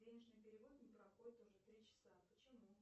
денежный перевод не проходит уже три часа почему